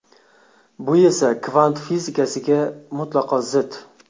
Bu esa kvant fizikasiga mutlaqo zid.